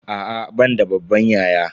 A'a ban da babban yaya.